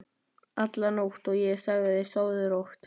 alla nótt, og ég sagði: Sofðu rótt.